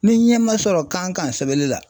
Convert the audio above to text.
Ni ɲɛ ma sɔrɔ kan kan sɛbɛli la